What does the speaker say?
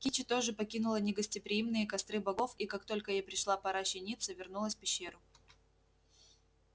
кичи тоже покинула негостеприимные костры богов и как только ей пришла пора щениться вернулась в пещеру